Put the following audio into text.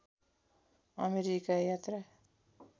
America यात्रा